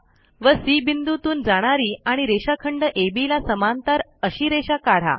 व सी बिंदूतून जाणारी आणि रेषाखंड अब ला समांतर अशी रेषा काढा